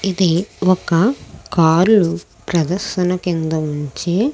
ఇది ఒక కార్ ను ప్రదర్శన కేంద్రం నించి.